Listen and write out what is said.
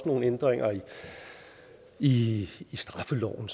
nogle ændringer i i straffeloven